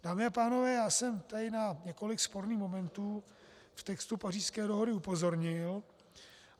Dámy a pánové, já jsem tady na několik sporných momentů v textu Pařížské dohody upozornil.